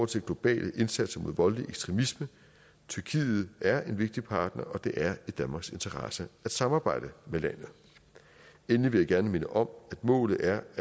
til globale indsatser mod voldelig ekstremisme tyrkiet er en vigtig partner og det er i danmarks interesse at samarbejde med landet endelig vil jeg gerne minde om at målet er